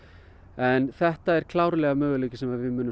en þetta er klárlega möguleiki sem við munum